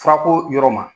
Furako yɔrɔ ma